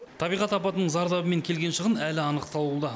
табиғат апатының зардабы мен келген шығын әлі анықталуда